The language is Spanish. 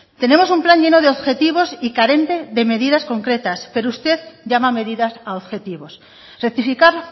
tenemos un plan lleno de objetivos y carente de medidas concretas pero usted llama medidas a objetivos rectificar